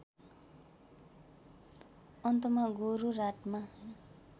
अन्तमा गोरुराटमा